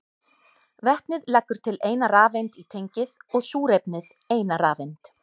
Vetnið leggur til eina rafeind í tengið og súrefnið eina rafeind.